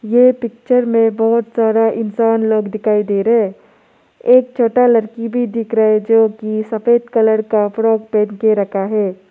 ये पिक्चर में बहोत सारा इंसान लोग दिखाई दे रहा है एक छोटा लड़की भी दिख रहा है जो की सफेद कलर का फ्रॉक पहन के रखा है।